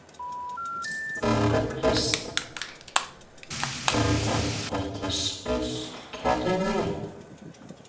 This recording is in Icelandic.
Þóra Kristín: En er þetta spillt kerfi?